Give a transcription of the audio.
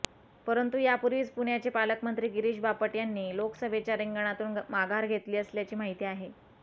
परंतु यापूर्वीच पुण्याचे पालकमंत्री गिरीश बापट यांनी लोकसभेच्या रिंगणातून माघार घेतली असल्याची माहिती आहे